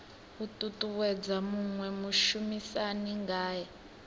u ṱuṱuwedza muṅwe mushumisani ngae